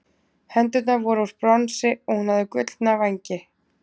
hendurnar voru úr bronsi og hún hafði gullna vængi